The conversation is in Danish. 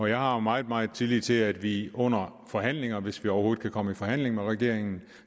jeg har meget meget tillid til at vi under forhandlinger hvis vi overhovedet kan komme i forhandling med regeringen